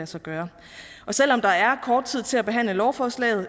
sig gøre selv om der er kort tid til at behandle lovforslaget